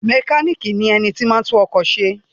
Mékànìkì ni ẹni tí o máa ń tún ọkọ̀ se